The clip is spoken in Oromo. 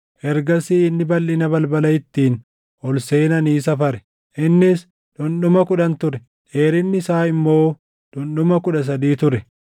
Ergasii inni balʼina balbala ittiin ol seenanii safare; innis dhundhuma kudhan ture; dheerinni isaa immoo dhundhuma kudha sadii ture.